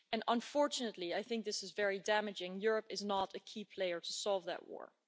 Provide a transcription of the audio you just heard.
Unfortunately, and I think this is very damaging, Europe is not a key player to solve that war.